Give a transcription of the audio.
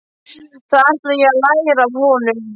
Það ætla ég að læra af honum.